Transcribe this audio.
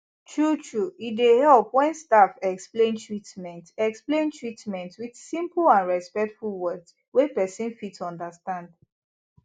truetrue e dey help when staff explain treatment explain treatment with simple and respectful words wey person fit understand